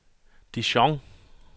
Dijon